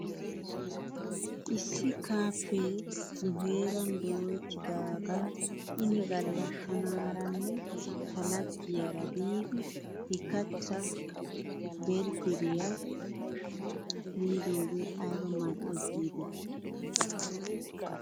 Issi kaaffee nu heeran dooyettidaagan ini gala tanaaranne ta laggiyaara biidi he keettaa biidi berggeriyaa miidoogee ayba mal'es giidetii .